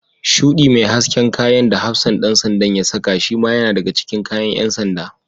Shuɗi mai hasken kayan da hafsan ɗan sandan da ya saka shima yana daga cikin kayan ƴan sanda.